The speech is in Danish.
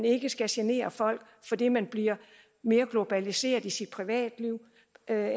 ikke skal genere folk fordi man bliver mere globaliseret i sit privatliv